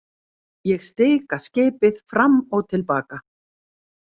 Ég stika skipið fram og til baka.